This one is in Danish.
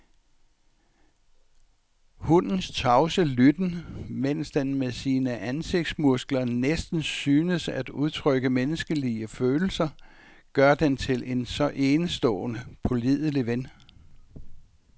Hundens tavse lytten, mens den med sine ansigtsmuskler næsten synes at udtrykke menneskelige følelser, gør den til en så enestående pålidelig ven.